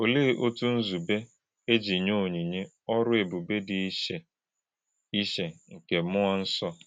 Olè̄e òtú̄ nzúbè̄ e jì̄ nyè̄ ònyínyè̄ ọ̀rụ̀ ébùbè̄ dị̄ ìchè̄ ìchè̄ nke mmúọ̄ nsọ̄?